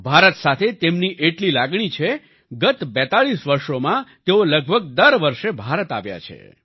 ભારત સાથે તેમની એટલી લાગણી છે ગત 42 વર્ષોમાં તેઓ લગભગ દર વર્ષે ભારત આવ્યા છે